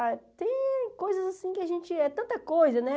Ah, tem coisas assim que a gente, é tanta coisa, né?